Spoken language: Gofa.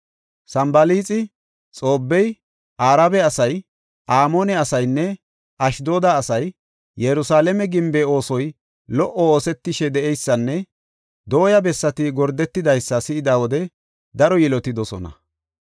Sanbalaaxi, Xoobbey, Arabe asay, Amoone asaynne Ashdooda asay Yerusalaame gimbe oosoy lo77o oosetishe de7eysanne dooya bessati gordetidaysa si7ida wode daro yilotidosona.